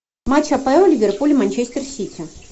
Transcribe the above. матч апл ливерпуль манчестер сити